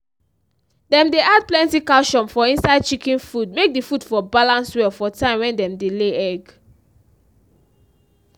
dem dey add plenty calcium for inside chicken food make d food for balance well for time wen dem dey lay egg.